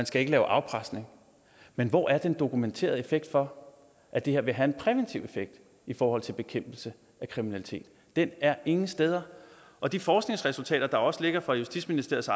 skal lave afpresning men hvor er den dokumenterede effekt for at det her vil have en præventiv effekt i forhold til bekæmpelse af kriminalitet den er ingen steder og de forskningsresultater der også ligger fra justitsministeriets